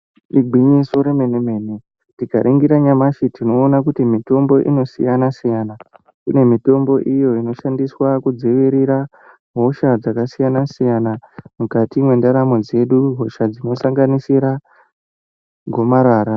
Igwinyiso re mene mene tika ningira nyamashi tinooona kuti mitimbo ino siyana siyana kune mitombo iyo inoshandiswa ku dzivirira hosha dzaka siyana siyana mukati me ndaramo dzedu hosha dzino sanganisira gomarara.